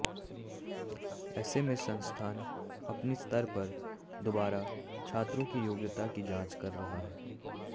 ऐसे में संस्थान अपने स्तर पर दोबारा छात्रों की योग्यता की जांच कर रहा है